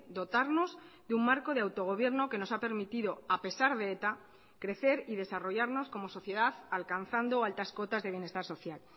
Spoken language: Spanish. dotarnos de un marco de autogobierno que nos ha permitido a pesar de eta crecer y desarrollarnos como sociedad alcanzando altas cotas de bienestar social